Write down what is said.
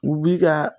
U bi ka